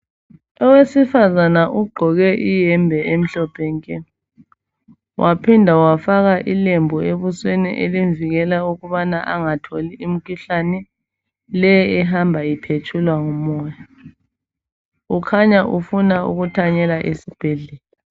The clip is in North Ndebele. Owesifazana ugqoke iyembe emhlophe nke waphinda wafaka ilembu ebusweni elimvikela ukubana angatholi imkhuhlane leyi ehamba iphetshulwa ngumoya. Ukhanya ufuna ukuthanyela esibhedlela.